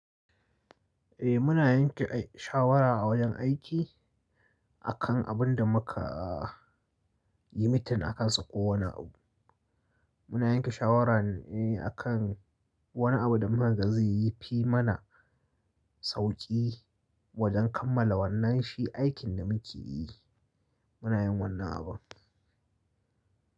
Eh muna yanke shawara a wajen aiki akan abin da muka yi mitin akansa ko wani abu. Muna yanke shawara ne akan wani abu da muka ga zai fi mana sauƙi wajen kammala wannan shi aikin da muke yi. Muna yin wannan abun.